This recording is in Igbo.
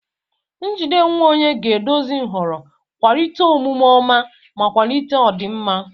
Njide onwe onye ga-eduzi nhọrọ, kwalite omume ọma, ma kwalite ọdịmma.